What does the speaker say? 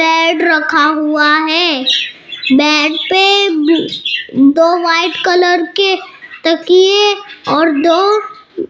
bed रखा हुआ है बेड पे दो वाइट कलर के तकिए और दो --